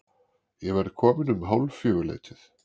Ég verð kominn um hálffjögur-leytið.